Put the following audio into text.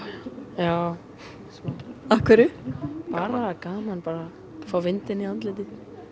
já af hverju bara það er gaman að fá vindinn í andlitið